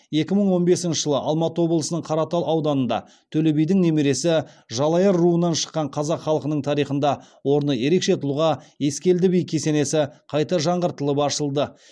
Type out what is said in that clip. екі мың он бесінші жылы алматы облысының қаратал ауданында төле бидің немересі жалайыр руынан шыққан қазақ халқының тарихында орны ерекше тұлға ескелді би кесенесі қайта жаңғыртылып ашылды